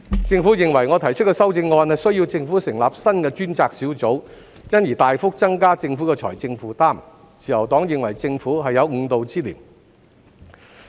政府認為我提出的修正案需要政府成立新的專責小組，因而大幅增加政府的財政負擔，自由黨認為政府是有誤導之嫌。